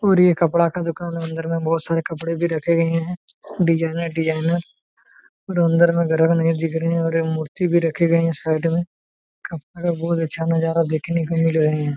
और ये कपड़े का दुकान अंदर में बहुत सारे कपड़े भी रखे गए है डिज़ाइनर डिज़ाइनर और अंदर मैं घर नहीं देख रहा है और मूर्ति पर रखी गई है साइड में कपड़े का बहुत अच्छा नजारा देखने को मिल रहे हैं।